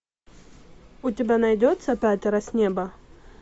у тебя найдется пятеро с неба